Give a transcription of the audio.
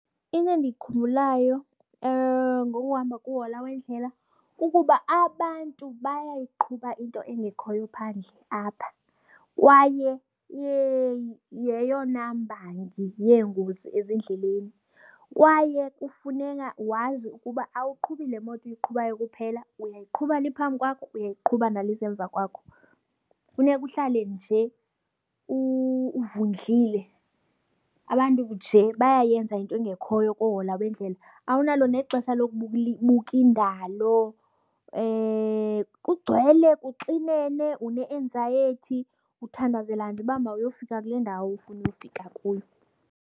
Into endiyikhumbulayo ngokuhamba kuhola wendlela kukuba abantu bayayiqhuba into engekhoyo phandle apha kwaye yeyona mbangi yengozi ezindleleni. Kwaye kufuneka wazi ukuba awuqhubi le moto uyiqhubayo kuphela, uyayiqhuba le iphambi kwakho uyayiqhuba nale iza emva kwakho, funeka uhlale nje uvundlile. Abantu nje bayayenza into engekhoyo koohola bendlela, awunalo nexesha buka indalo. Kugcwele, kuxinene une-anxiety, uthandazela nje uba mawuyofika kule ndawo ufuna ukufika kuyo.